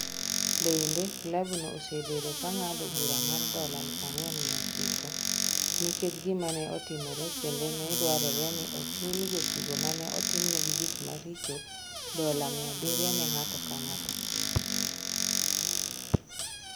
Bende, klabno osebedo ka ng’ado bura mar dola 4,900 nikech gima ne otimore kendo ne dwarore ni ochul jotugo ma ne otimnegi gik maricho dola 700 ne ng’ato ka ng’ato.